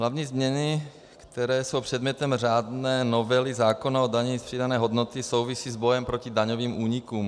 Hlavní změny, které jsou předmětem řádné novely zákona o dani z přidané hodnoty, souvisí s bojem proti daňovým únikům.